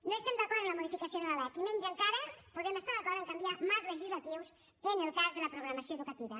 no estem d’acord amb la modificació de la lec i menys encara podem estar d’acord a canviar marcs legislatius en el cas de la programació educativa